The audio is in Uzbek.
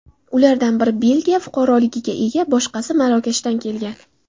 Ulardan biri Belgiya fuqaroligiga ega, boshqasi Marokashdan kelgan.